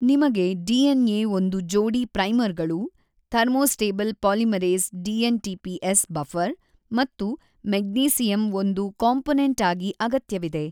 ನಿಮಗೆ DNA ಒಂದು ಜೋಡಿ ಪ್ರೈಮರ್ ಗಳು thermostable polymerase dNTPs buffer ಮತ್ತು ಮೆಗ್ನೀಸಿಯಮ್ ಒಂದು ಕಾಂಪೊನೆಂಟ್ ಆಗಿ ಅಗತ್ಯವಿದೆ.